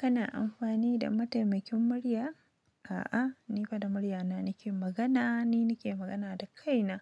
Kana amfani da mataimakin murya? A'a, ni fa da muryana nake magana. Ni nake magana da kaina,